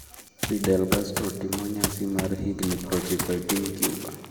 Fidel Castro timo nyasi mar higini prochiko e piny Cuba